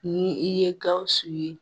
Ni i ye Gawusu ye.